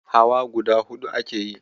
Hawa guda huɗu ake yi.